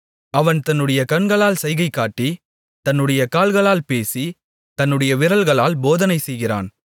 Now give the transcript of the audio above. அவன் தன்னுடைய கண்களால் சைகைகாட்டி தன்னுடைய கால்களால் பேசி தன்னுடைய விரல்களால் போதனை செய்கிறான்